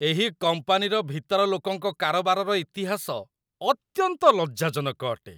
ଏହି କମ୍ପାନୀର ଭିତର ଲୋକଙ୍କ କାରବାରର ଇତିହାସ ଅତ୍ୟନ୍ତ ଲଜ୍ଜାଜନକ ଅଟେ।